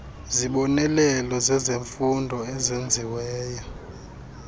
zibonelelo zezemfundo ezenziweyo